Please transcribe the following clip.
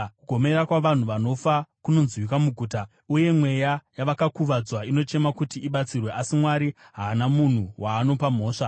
Kugomera kwavanhu vanofa kunonzwika muguta, uye mweya yavakakuvadzwa inochema kuti ibatsirwe. Asi Mwari haana munhu waanopa mhosva.